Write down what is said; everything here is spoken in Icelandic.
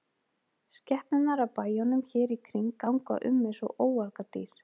Skepnurnar af bæjunum hér í kring ganga um eins og óargadýr.